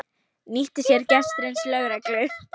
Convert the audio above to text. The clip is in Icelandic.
Nýtti sér gestrisni lögreglu